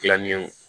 Gilanni